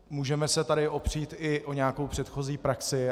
Můžeme se tady opřít i o nějakou předchozí praxi.